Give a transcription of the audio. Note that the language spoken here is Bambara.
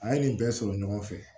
An ye nin bɛɛ sɔrɔ ɲɔgɔn fɛ